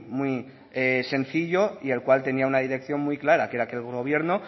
muy sencillo y el cual tenía una dirección muy clara que era que el gobierno